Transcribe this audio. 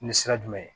Ni sira jumɛn ye